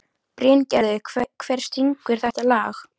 Bryngerður, hver syngur þetta lag?